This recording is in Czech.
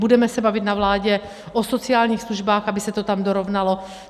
Budeme se bavit na vládě o sociálních službách, aby se to tam dorovnalo.